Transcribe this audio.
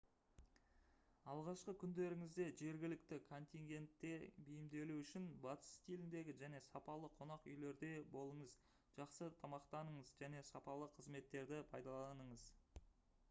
алғашқы күндеріңізде жергілікті контингентке бейімделу үшін батыс стиліндегі және сапалы қонақ үйлерде болыңыз жақсы тамақтаныңыз және сапалы қызметтерді пайдаланыңыз